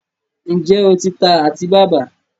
ǹjẹ́ o ti ta àtíbàbà?